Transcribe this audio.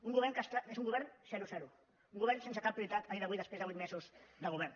un govern que és un govern zero zero un govern sense cap prioritat a dia d’avui després de vuit mesos de govern